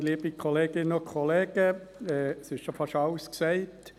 Es wurde schon fast alles gesagt.